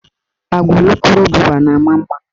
Agwa ulukurububa na ama mma.